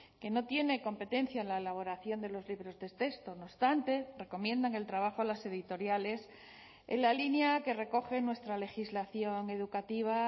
que no tiene competencia en la elaboración de los libros de texto no obstante recomiendan el trabajo a las editoriales en la línea que recoge nuestra legislación educativa